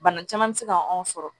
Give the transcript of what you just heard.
Bana caman bɛ se ka anw sɔrɔ